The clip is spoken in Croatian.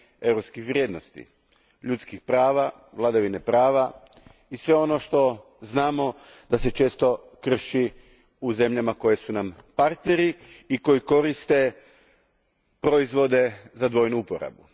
europskih vrijednosti ljudskih prava, vladavine prava i svega onoga za što znamo da se često krši u zemljama koje su nam partneri i koje koriste proizvode za dvojnu uporabu.